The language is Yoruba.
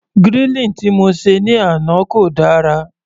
Grilling tí mo se ní àná kò dára.